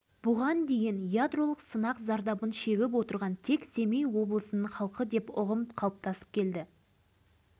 жан түршігерлік осынау әңгімелерден павлодар облысы тұрғындарының шеккен азабы көрініп тұрған жоқ па